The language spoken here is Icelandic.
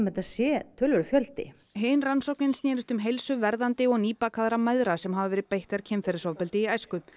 þetta sé töluverður fjöldi hin rannsóknin snerist um heilsu verðandi og nýbakaðra mæðra sem hafa verið beittar kynferðisofbeldi í æsku